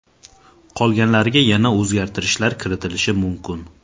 Qolganlariga yana o‘zgartirishlar kiritilishi mumkin.